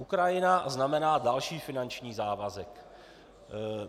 Ukrajina znamená další finanční závazek.